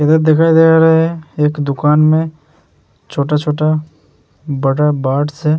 इधर दिखाई दे रहा है एक दुकान में छोटा-छोटा बटर बर्ड्स है।